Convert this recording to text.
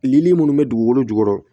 Lili munnu bɛ dugukolo jukɔrɔ